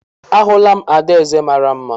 Ahụla m adaeze mara mma